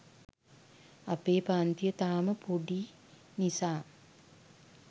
අපේ පංතිය තාම පොඩි නිසා